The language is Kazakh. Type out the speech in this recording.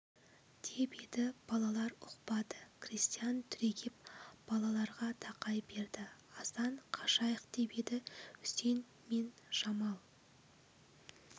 деп еді балалар ұқпады крестьян түрегеп балаларға тақай берді асан қашайық деп еді үсен мен жамал